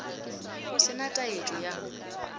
go se na taetšo ya